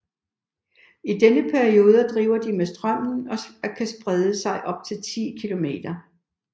I denne periode driver de med strømmen og kan sprede sig op til 10 km